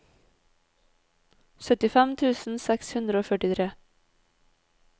syttifem tusen seks hundre og førtitre